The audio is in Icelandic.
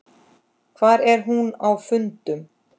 Hvar er hún á fundum?